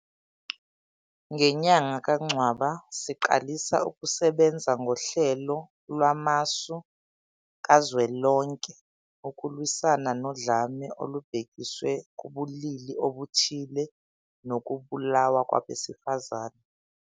Ngenyanga kaNcwaba, siqalisa ukusebenza koHlelo Lwamasu Kazwelonke ukulwisana nodlame olubhekiswe kubulili obuthile nokubulawa kwabesifazane.